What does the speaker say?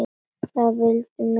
Það vildu mig allir.